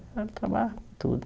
Ele trabalhava com tudo.